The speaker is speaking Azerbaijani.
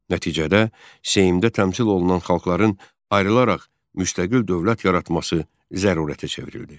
Nəticədə Seymdə təmsil olunan xalqların ayrılaraq müstəqil dövlət yaratması zərurətə çevrildi.